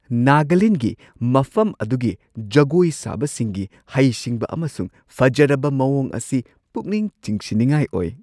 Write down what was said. ꯅꯥꯒꯥꯂꯦꯟꯗꯒꯤ ꯃꯐꯝ ꯑꯗꯨꯒꯤ ꯖꯒꯣꯏ ꯁꯥꯕꯁꯤꯡꯒꯤ ꯍꯩꯁꯤꯡꯕ ꯑꯃꯁꯨꯡ ꯐꯖꯔꯕ ꯃꯑꯣꯡ ꯑꯁꯤ ꯄꯨꯛꯅꯤꯡ ꯆꯤꯡꯁꯤꯟꯅꯤꯡꯉꯥꯏ ꯑꯣꯏ꯫